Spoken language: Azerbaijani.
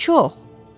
Çox!